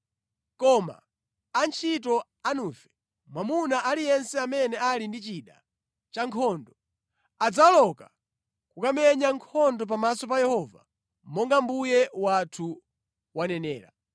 koma antchito anufe, mwamuna aliyense amene ali ndi chida cha nkhondo, adzawoloka kukamenya nkhondo pamaso pa Yehova monga mbuye wathu wanenera.”